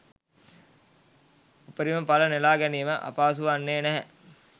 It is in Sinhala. උපරිම ඵල නෙළා ගැනීම අපහසු වන්නේ නැහැ.